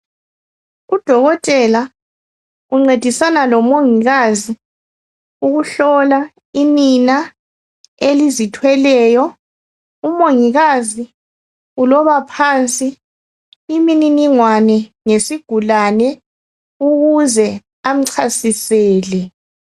Udokotela uncedisana lomongikazi ukuhlola inina elizithweleyo. Umongikazi uloba phansi imniningwane ngesigulane ukuze amchasisele.